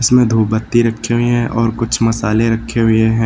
में धूप बत्ती रखी हुई हैं और कुछ मसाले रखे हुए हैं।